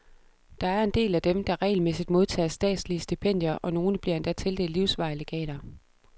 Der er en del af dem, der regelmæssigt modtager statslige stipendier, og nogle bliver endda tildelt livsvarige legater.